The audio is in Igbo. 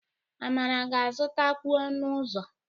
Amara ga-azụtakwu ọnụ ụzọ.